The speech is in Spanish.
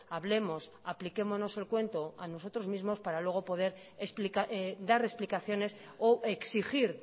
hablemos apliquémonos el cuento a nosotros mismos para luego poder dar explicaciones o exigir